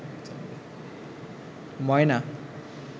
ময়না